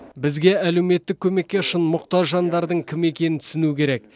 бізге әлеуметтік көмекке шын мұқтаж жандардың кім екенін түсіну керек